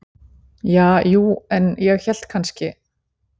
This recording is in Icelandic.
Ja, jú, en ég hélt kannski.